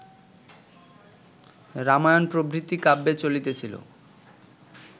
রামায়ণ প্রভৃতি কাব্যে চলিতেছিল